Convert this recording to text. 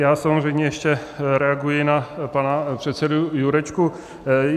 Já samozřejmě ještě reaguji na pana předsedu Jurečku.